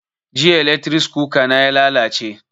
Jiya eletris kuka na ya lalace